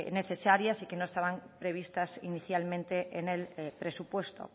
necesarias y que no estaban previstas inicialmente en el presupuesto